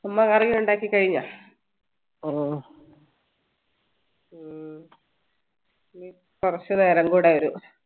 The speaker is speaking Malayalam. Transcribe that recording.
അമ്മ curry ഉണ്ടാക്കി കഴിഞ്ഞ ഇനി കുറച്ചുനേരം കൂടെ